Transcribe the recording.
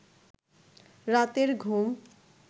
রাতের ঘুম